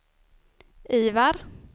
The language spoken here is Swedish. Ivar